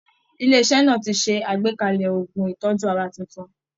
Ilé iṣẹ́ náà ti ṣe àgbékalẹ̀ oògùn ìtọ́jú ara tuntun